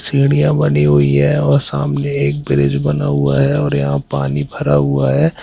सीढ़ियां बनी हुई है और सामने एक ब्रिज बना हुआ है और यहां पानी भरा हुआ है।